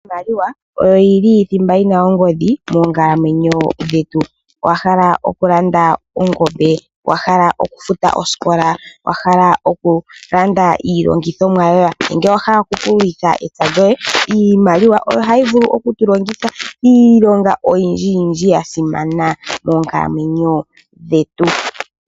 Iimaliwa oyo yili thimba yina ongodhi moonkalamwenyo dhetu. Owahala okulanda ongombe? Owahala okufuta osikola? Owahala okulanda iilandithomwa yoye? Nenge Owahala oku pululitha ?. Iimaliwa oyili ya simana moonkalamwenyo dhetu.